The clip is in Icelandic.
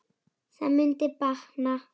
Það mundi batna.